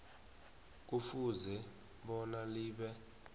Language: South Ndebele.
kufuze bona libe